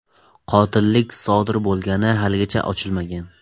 Qotillik qanday sodir bo‘lgani haligacha ochilmagan.